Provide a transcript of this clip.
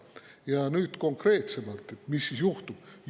Ja nüüd konkreetsemalt, mis siis juhtub.